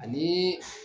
Ani